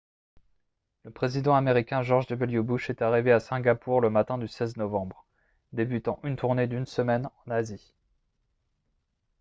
le président américain george w bush est arrivé à singapour le matin du 16 novembre débutant une tournée d'une semaine en asie